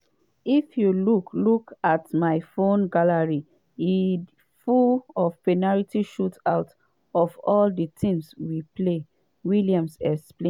“if you look look at my phone gallery e full of penalty shootouts of all di teams we play” williams explain.